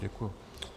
Děkuji.